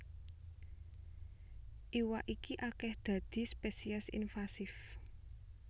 Iwak iki akèh dadi spesies invasif